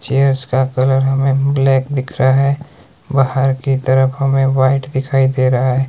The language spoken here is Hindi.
चेयर्स का कलर हमें ब्लैक दिख रहा है बाहर की तरफ हमें व्हाइट दिखाई दे रहा है।